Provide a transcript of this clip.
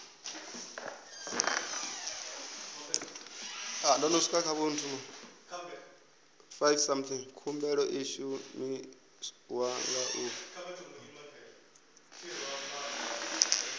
khumbelo i shumiwa nga ḓuvha